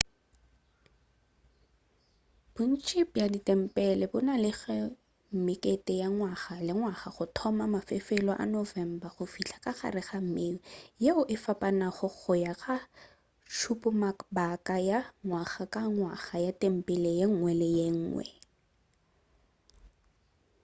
bontši bja ditempele bo na le mekete ya ngwaga ka ngwaga go thoma ka mafelelo a november go fihla gare ga may yeo e fapanago go ya ka tšhupamabaka ya ngwaga ka ngwaga ya tempele yenngwe le yenngwe